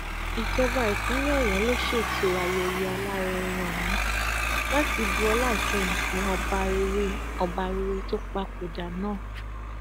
ìjọba ìpínlẹ ọyọ ló ṣètò ayẹyẹ alárinrin ọhún láti bu ọlá ìkẹyìn fún ọba rere ọba rere tó papòdà náà